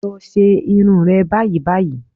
Lọ ṣe irun rẹ báyìí báyìí